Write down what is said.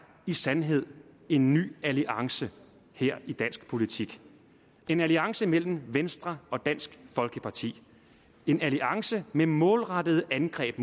i sandhed en ny alliance her i dansk politik en alliance mellem venstre og dansk folkeparti en alliance med målrettede angreb